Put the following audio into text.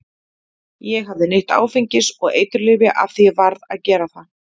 Ég hafði neytt áfengis og eiturlyfja af því ég varð að gera það.